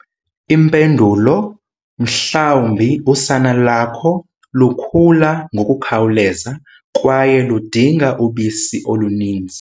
Impendulo- Mhlawumbi usana lakho lukhula ngokukhawuleza, kwaye ludinga ubisi oluninzi.